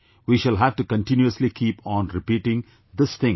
We shall have to continuously keep on repeating this thing